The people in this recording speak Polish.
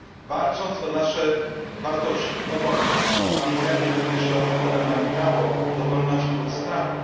Walcząc o nasze wartości, o wolność, pamiętajmy również, że obywatele mają prawo do wolności od strachu.